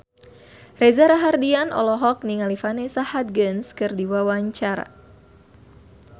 Reza Rahardian olohok ningali Vanessa Hudgens keur diwawancara